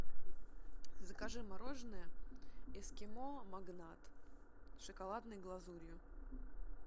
закажи мороженое эскимо магнат с шоколадной глазурью